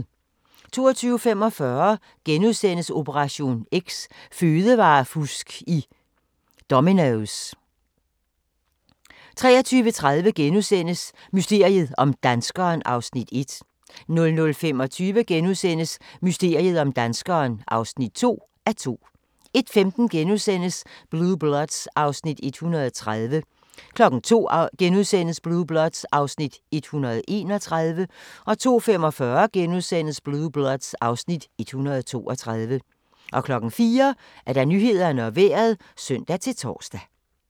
22:45: Operation X: Fødevarefusk i Domino's * 23:30: Mysteriet om danskeren (1:2)* 00:25: Mysteriet om danskeren (2:2)* 01:15: Blue Bloods (Afs. 130)* 02:00: Blue Bloods (Afs. 131)* 02:45: Blue Bloods (Afs. 132)* 04:00: Nyhederne og Vejret (søn-tor)